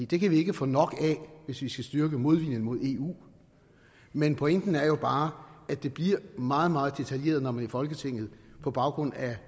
det kan vi ikke få nok af hvis vi skal styrke modviljen mod eu men pointen er jo bare at det bliver meget meget detaljeret når man i folketinget på baggrund af